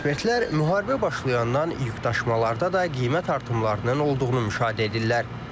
Ekspertlər müharibə başlayandan yükdaşımalarda da qiymət artımlarının olduğunu müşahidə edirlər.